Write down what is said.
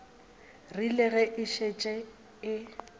rile ge e šetše e